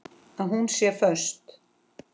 Að hún sé föst.